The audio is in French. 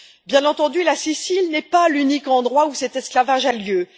Bien entendu, la Sicile n'est pas l'unique endroit où cet esclavage a lieu.